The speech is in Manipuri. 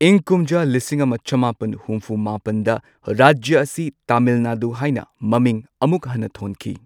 ꯏꯪ ꯀꯨꯝꯖꯥ ꯂꯤꯁꯤꯡ ꯑꯃ ꯆꯃꯥꯄꯟ ꯍꯨꯝꯐꯨ ꯃꯥꯄꯟꯗ ꯔꯥꯖ꯭ꯌ ꯑꯁꯤ ꯇꯥꯃꯤꯜ ꯅꯥꯗꯨ ꯍꯥꯏꯅ ꯃꯃꯤꯡ ꯑꯃꯨꯛ ꯍꯟꯅ ꯊꯣꯟꯈꯤ꯫